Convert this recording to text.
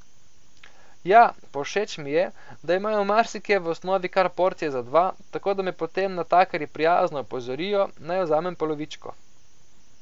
Ja, pa všeč mi je, da imajo marsikje v osnovi kar porcije za dva, tako da me potem natakarji prijazno opozorijo, naj vzamem polovičko.